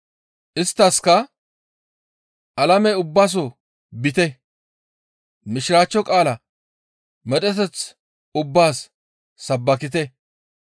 Isttaskka, «Alame ubbaso biite, Mishiraachcho qaala medheteth ubbaas sabbakite.